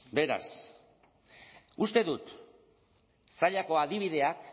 beraz uste dut zallako adibideak